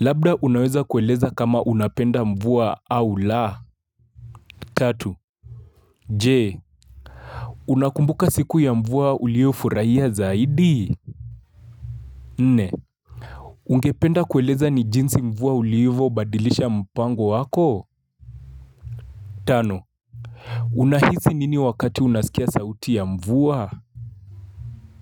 Labda unaweza kueleza kama unapenda mvua au la. Tatu. Je. Unakumbuka siku ya mvua ulio furaia zaidi? Nne. Ungependa kueleza ni jinsi mvua uliovyo badilisha mpango wako? Tano. Unahizi nini wakati unasikia sauti ya mvua?